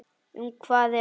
Um hvað er sagan?